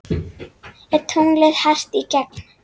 Er tunglið hart í gegn?